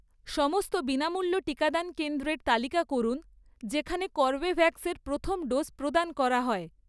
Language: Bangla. সমস্ত বিনামূল্য টিকাদান কেন্দ্রের তালিকা করুন যেখানে কর্বেভ্যাক্স এর প্রথম ডোজ প্রদান করা হয়